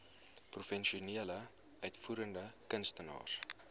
professionele uitvoerende kunstenaars